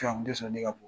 sɔrɔ ne ka bɔ